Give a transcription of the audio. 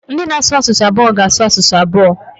Ndị na-asụ asụsụ abụọ ga-asụ asụsụ abụọ.